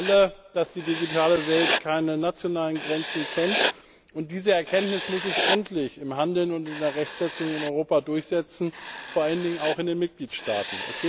Wir wissen alle, dass die digitale Welt keine nationalen Grenzen kennt, und diese Erkenntnis muss sich endlich im Handeln und in der Rechtsetzung in Europa durchsetzen, vor allen Dingen auch in den Mitgliedstaaten.